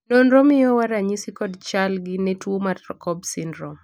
nonro miyowa ranyisi kod chal gi ne tuo mar cobb syndrome